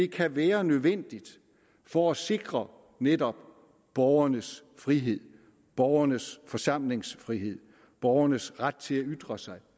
kan være nødvendigt for at sikre netop borgernes frihed borgernes forsamlingsfrihed borgernes ret til at ytre sig